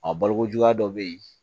A balokojuguya dɔ bɛ yen